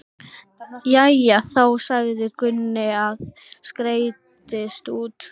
Jæja þá, sagði Gunni og skreiddist út.